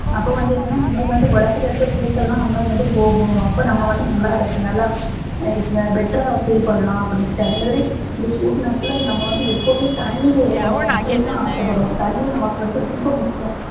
அப்போ வந்து என்னனா நமக்கு வந்து உடம்புல இருக்க சூட்டலாம் நமக்கு வந்து போகும் அப்ப வந்து நமக்கு நல்லாருக்கும் நல்லா better ரா feel பண்ணலாம் அப்டின்னு சொல்லிட்டு அதேமாதிரி இந்த சூடு நேரத்துல நம்ப வந்து எப்போதுமே தண்ணீல இருக்கணும் அப்படிதா ஆசபடுவோம் தண்ணி நமக்கு வந்து ரொம்ப முக்கியம்